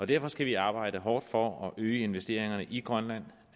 derfor skal vi arbejde hårdt for at øge investeringerne i grønland